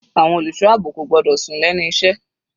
Àwọn olùṣọ́ àbò kò gbọ́dọ̀ sùn lẹ́nu iṣẹ́.